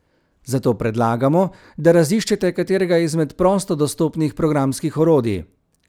Zato predlagamo, da raziščete katerega izmed prosto dostopnih programskih orodij.